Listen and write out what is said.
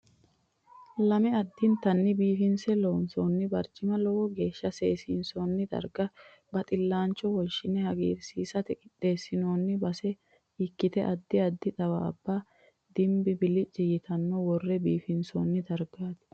Lame addintanni biifinse loonsoonni barcimi lowo geeshsha seesiinsoonni darga baxillaancho woshine hagirsiisate qixxeessinoonni base ikkite addi addi xawaabba dimmi bilici yitaare worre biisinsoonni dargaati.